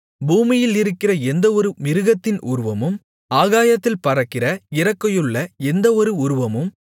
பூமியிலிருக்கிற எந்தவொரு மிருகத்தின் உருவமும் ஆகாயத்தில் பறக்கிற இறக்கையுள்ள எந்தவொரு உருவமும்